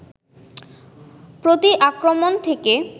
প্রতি-আক্রমণ থেকে